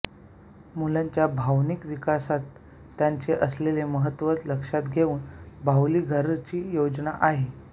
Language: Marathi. मुलांच्या भावनिक विकासात त्याचे असलेले महत्त्व लक्षात घेऊन बाहुलीघराची योजना आहे